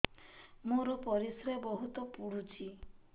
ମୋର ପରିସ୍ରା ବହୁତ ପୁଡୁଚି